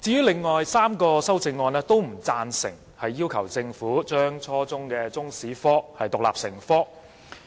另外3項修正案都不贊成要求政府將初中中國歷史科獨立成科。